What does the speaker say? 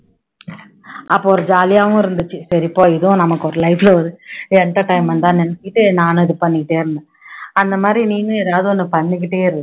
அப்போ ஒரு jolly ஆவும் இருந்துச்சு சரி போ இதுவும் நமக்கு ஒரு life ல ஒரு entertainment தான்னு நினைச்சுக்கிட்டு நானும் இது பண்ணிக்கிட்டே இருந்தேன் அந்த மாதிரி நீனும் எதாவது ஒண்ணு பண்ணிக்கிட்டே இரு